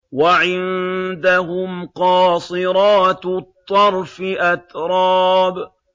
۞ وَعِندَهُمْ قَاصِرَاتُ الطَّرْفِ أَتْرَابٌ